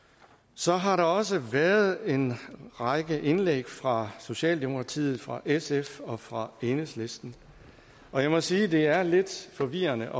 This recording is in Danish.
så har der også været en række indlæg fra socialdemokratiet fra sf og fra enhedslisten og jeg må sige at det er lidt forvirrende